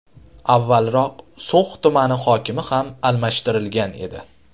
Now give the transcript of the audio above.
Avvalroq So‘x tumani hokimi ham almashtirilgan edi .